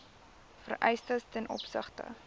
vereistes ten opsigte